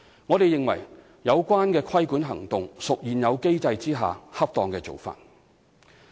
我們認為有關規管行動屬現有機制下的恰當做法。